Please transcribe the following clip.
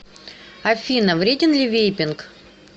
афина вреден ли вейпинг